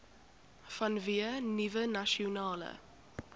vanweë nuwe nasionale